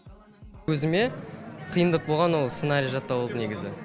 өзіме қиындық болғаны ол сценарий жаттау болды негізі